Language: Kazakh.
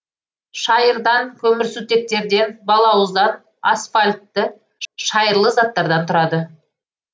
шайырдан көмірсутектерден балауыздан асфальтты шайырлы заттардан тұрады